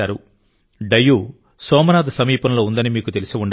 డయ్యూ సోమనాథ్ సమీపంలో ఉందని మీకు తెలిసి ఉండవచ్చు